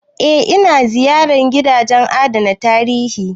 Eh, ina ziyarar gidajen adana tarihi